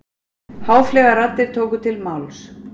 Háfleygar raddir tóku til máls.